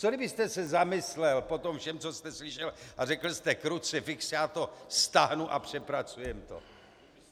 Co kdybyste se zamyslel po tom všem, co jste slyšel, a řekl jste krucifix, já to stáhnu a přepracujeme to?